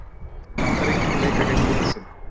Bandaríkin leika gegn Rússum